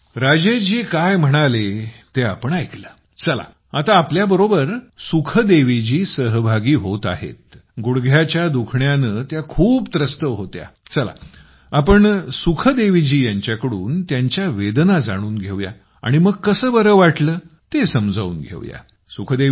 मित्रांनो आपण राजेशजी काय म्हणाले ते ऐकलं चला आता आपल्याबरोबर सुखदेवीजी सहभागी होत आहेत गुडघ्याच्या दुखण्याने त्या त्रस्त होत्या चला आपण सुखदेवीजी यांच्याकडून त्यांच्या वेदना जाणून घेऊया आणि मग कसे बरं वाटलं ते समजून घेऊया